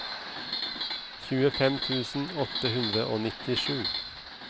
tjuefem tusen åtte hundre og nittisju